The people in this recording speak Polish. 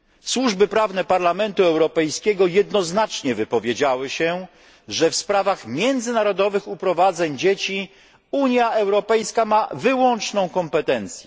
Służby prawne Parlamentu Europejskiego jednoznacznie wypowiedziały się, że w sprawach międzynarodowych uprowadzeń dzieci Unia Europejska ma wyłączną kompetencję.